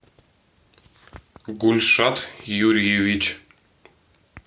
гульшат юрьевич